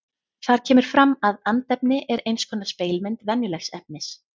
Þar kemur fram að andefni er eins konar spegilmynd venjulegs efnis.